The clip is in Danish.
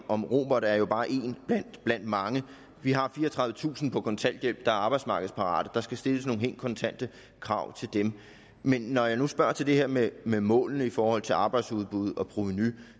om robert er jo bare én blandt mange vi har fireogtredivetusind på kontanthjælp der er arbejdsmarkedsparate der skal stilles nogle helt kontante krav til dem men når jeg nu spørger til det her med med målene i forhold til arbejdsudbud og provenu